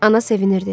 Ana sevinirdi.